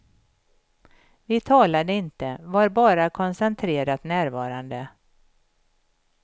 Vi talade inte, var bara koncentrerat närvarande.